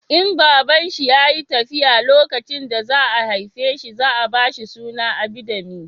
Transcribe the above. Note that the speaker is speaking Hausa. In babanshi ya yi tafiya lokacin da za a haife shi za a ba shi suna Abidemi